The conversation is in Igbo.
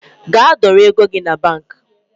Gaa dọrọ ego gi na banki